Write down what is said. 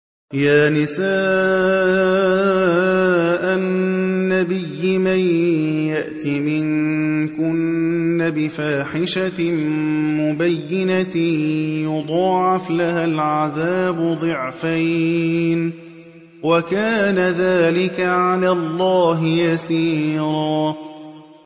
يَا نِسَاءَ النَّبِيِّ مَن يَأْتِ مِنكُنَّ بِفَاحِشَةٍ مُّبَيِّنَةٍ يُضَاعَفْ لَهَا الْعَذَابُ ضِعْفَيْنِ ۚ وَكَانَ ذَٰلِكَ عَلَى اللَّهِ يَسِيرًا